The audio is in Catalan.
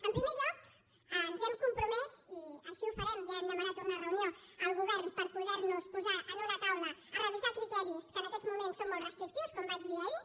en primer lloc ens hem compromès i així ho farem i ja hem demanat una reunió al govern per poder nos posar en una taula a revisar criteris que en aquests moments són molt restrictius com vaig dir ahir